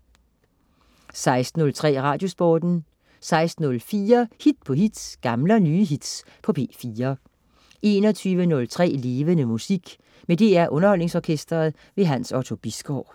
16.03 Radiosporten 16.04 Hit på hit. Gamle og nye hits på P4 21.03 Levende Musik. Med DR Underholdningsorkestret. Hans Otto Bisgaard